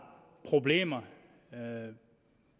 problemer